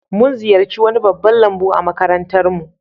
Mun ziyarci wani babban lambu a makarantar mu